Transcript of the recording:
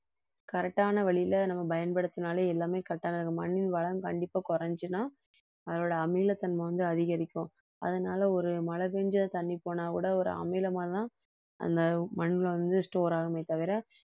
correct ஆன வழியில நம்ம பயன்படுத்தினாலே எல்லாமே correct ஆன மண்ணின் வளம் கண்டிப்பா குறைஞ்சுச்சுன்னா அதோட அமிலத்தன்மை வந்து அதிகரிக்கும் அதனால ஒரு மழை பெய்ஞ்ச தண்ணி போனாக்கூட ஒரு அமிலமாதான் அந்த மண்ணில வந்து store ஆகுமே தவிர